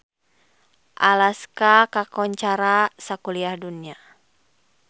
Alaska kakoncara sakuliah dunya